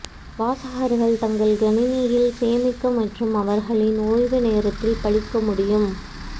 வாசகர்கள் தங்கள் கணினியில் சேமிக்க மற்றும் அவர்களின் ஓய்வு நேரத்தில் படிக்க முடியும்